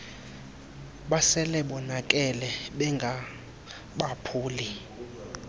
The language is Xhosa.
basele bonakele bengabaphuli